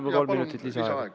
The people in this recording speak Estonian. Palun kolm minutit lisaaega!